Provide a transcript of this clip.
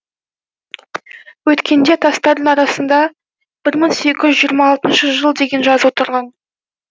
өткенде тастардың арасында бір мың сегіз жүз жиырма алтыншы жыл деген жазу тұрған